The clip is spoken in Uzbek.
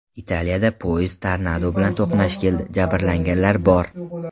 Italiyada poyezd tornado bilan to‘qnash keldi, jabrlanganlar bor.